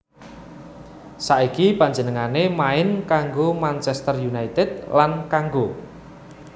Saiki panjenengané main kanggo Manchester United lan kanggo